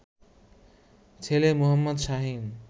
ছেলে মো. শাহীন